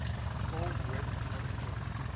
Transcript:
old westminsters